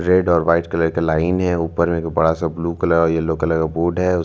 एबो ए टी लोग दाढ़ी आछे तार फ़ोन दिये तार ए टी ओटा फोटो तुलछे।